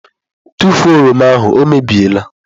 Tụfuo oroma ahụ! ọ mebie la.